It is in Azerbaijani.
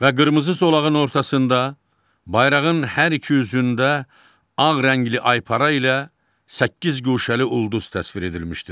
Və qırmızı zolağın ortasında, bayrağın hər iki üzündə ağ rəngli aypara ilə səkkiz guşəli ulduz təsvir edilmişdir.